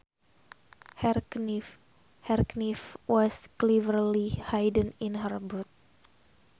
Her knife was cleverly hidden in her boot